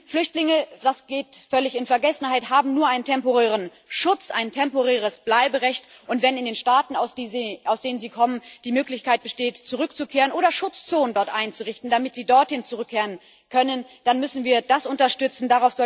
Flüchtlinge das gerät völlig in Vergessenheit haben nur einen temporären Schutz, ein temporäres Bleiberecht, und wenn in den Staaten, aus denen sie kommen, die Möglichkeit besteht, zurückzukehren oder Schutzzonen dort einzurichten, damit sie dorthin zurückkehren können, dann müssen wir das unterstützen.